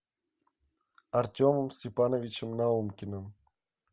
артемом степановичем наумкиным